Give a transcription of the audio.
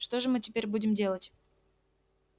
что же мы теперь будем делать